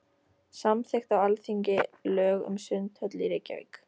Samþykkt á Alþingi lög um sundhöll í Reykjavík.